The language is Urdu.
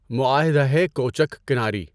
معاہدۂ کوچک کناری